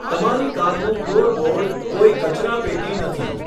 તમારી કારનું ફ્લોરબોર્ડ કોઈ કચરાપેટી નથી.